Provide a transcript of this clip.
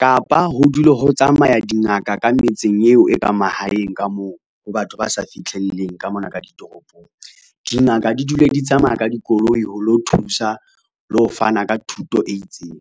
Kapa ho dule ho tsamaya dingaka ka metseng eo e ka mahaeng ka moo ho batho ba sa fihlelleng ka mona ka ditoropong, dingaka di dule di tsamaya ka dikoloi ho lo thusa le ho fana ka thuto e itseng.